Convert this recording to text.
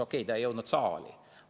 Okei, ta ei jõudnud saali.